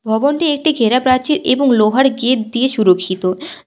ভবনটি একটি ঘেরা প্রাচীর এবং লোহার গেট দিয়ে সুরক্ষিত।